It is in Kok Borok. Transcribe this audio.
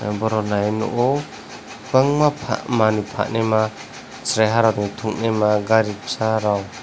oborok nai nukgo bangma manui phanaima cherai rokni thungneima gari bwsarok.